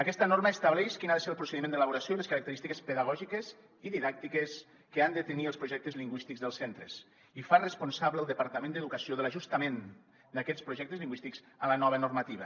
aquesta norma estableix quin ha de ser el procediment d’elaboració i les característiques pedagògiques i didàctiques que han de tenir els projectes lingüístics dels centres i fa responsable el departament d’educació de l’ajustament d’aquests projectes lingüístics a la nova normativa